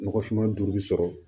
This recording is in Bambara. Nɔgɔfinma duuru sɔrɔ